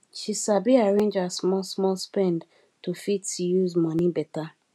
she sabi arrange her small small spend to fit use money better